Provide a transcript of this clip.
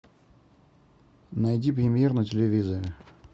найди премьер на телевизоре